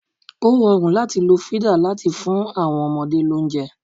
O rọrùn láti lo fídà láti fún àwọn ọmọdé lóúnjẹ.